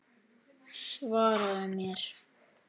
Svaraðu mér.